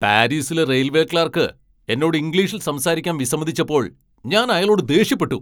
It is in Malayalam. പാരീസിലെ റെയിൽവേ ക്ലർക്ക് എന്നോട് ഇംഗ്ലീഷിൽ സംസാരിക്കാൻ വിസമ്മതിച്ചപ്പോൾ ഞാൻ അയാളോട് ദേഷ്യപ്പെട്ടു.